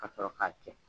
Ka sɔrɔ k'a cɛ